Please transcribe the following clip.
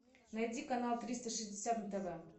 найди канал триста шестьдесят на тв